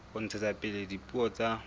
ho ntshetsa pele dipuo tsa